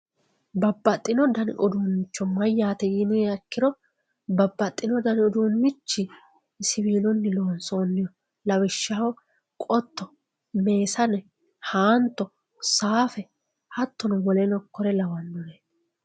babbaxino dani uduunnicho mayaate yiniha ikkiro babbaxino dani uduunnichi siviiluyi loonsooniho lawishshaho qotto, meesane, haanto, saafe hattono woleno kuri lawanoreeti.